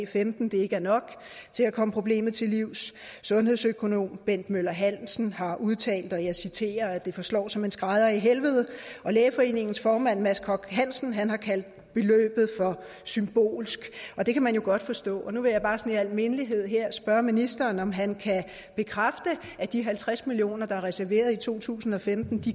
femten ikke er nok til at komme problemet til livs sundhedsøkonom bent møller hansen har udtalt og jeg citerer at det forslår som en skrædder i helvede og lægeforeningens formand mads henrik koch hansen har kaldt beløbet for symbolsk og det kan man jo godt forstå nu vil jeg bare sådan i al mindelighed her spørge ministeren om han kan bekræfte at de halvtreds million kr der er reserveret i to tusind og femten